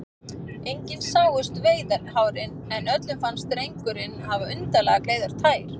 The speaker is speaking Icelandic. Engin sáust veiðihárin, en öllum fannst drengurinn hafa undarlega gleiðar tær.